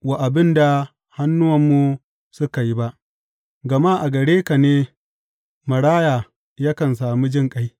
wa abin da hannuwanmu suka yi ba, gama a gare ka ne maraya yakan sami jinƙai.